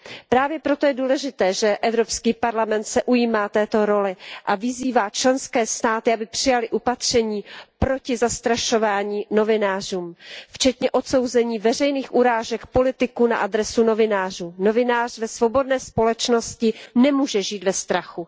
Právě proto je důležité, že Evropský parlament se ujímá této role a vyzývá členské státy, aby přijaly opatření proti zastrašování novinářů včetně odsouzení veřejných urážek politiků na adresu novinářů. Novinář ve svobodné společnosti nemůže žít ve strachu.